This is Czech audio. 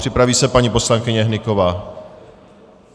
Připraví se paní poslankyně Hnyková.